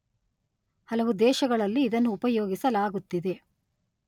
ಹಲವು ದೇಶಗಳಲ್ಲಿ ಇದನ್ನು ಉಪಯೋಗಿಸಲಾಗುತ್ತಿದೆ